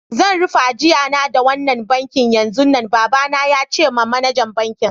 Zan rufe ajia na da wannan banki yanzun nan, baba na ya ce ma manajer bankin.